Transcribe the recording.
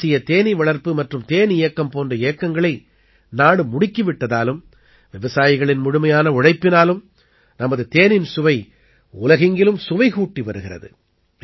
தேசிய தேனீவளர்ப்பு மற்றும் தேன் இயக்கம் போன்ற இயக்கங்களை நாடு முடுக்கி விட்டதாலும் விவசாயிகளின் முழுமையான உழைப்பினாலும் நமது தேனின் சுவை உலகெங்கிலும் சுவை கூட்டி வருகிறது